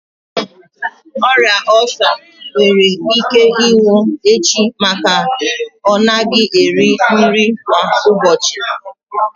Ọrịa ulcer nwere ike ịnwụ echi maka na ọ naghị eri nri kwa ụbọchị.